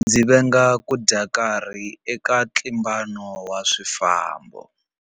Ndzi venga ku dya nkarhi eka ntlimbano wa swifambo.